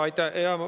Aitäh!